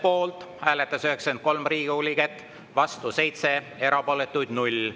Poolt hääletas 93 Riigikogu liiget, vastu 7, erapooletuks jäi 0.